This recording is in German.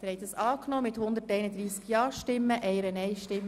Sie haben dem Kredit zugestimmt.